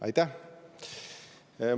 Aitäh!